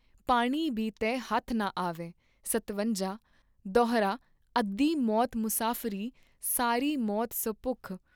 ਪਾਣੀ ਬੀ ਤਹਿ ਹੱਥ ਨ ਆਵੈ ॥ਸਤਵੰਜਾ ॥ ਦੋਹਰਾ ਅੱਧੀ ਮੌਤ ਮੁਸਾਫਰੀ ਸਾਰੀ ਮੌਤ ਸੁ ਭੁੱਖ ॥